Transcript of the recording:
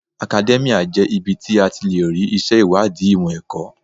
Akadẹ́míà jẹ́ ibi tí a ti lè rí ìṣe ìwádìí ìmọ̀ ẹ̀kọ́.